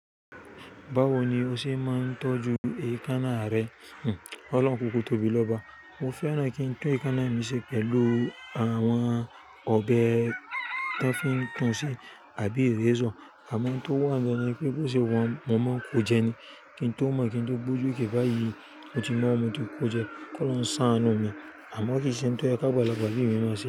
Báwo ni o ṣe máa ń tọ́jú èékánná rẹ? Ọlọ́run kúkú tóbi lọ́ba. Mo fẹ́ràn kí n tún èékánná mi ṣe pẹ̀lú àwọn ọ̀bẹ tí wọ́n fi ń tún un ṣe àbí erayzor. Àmọ́ n tó wà gan ni pé bó ṣe wa hun, mo máa ń kó jẹ ni. Kí n tó mọ̀ kí n tó gbójú kí báyìí mo ti mọ̀, mo ti kó jẹ, kó olohun ṣàánú mi. Àmọ́ kì í ṣe n tó yẹ káàgbà lagbà bi mi máà ṣe.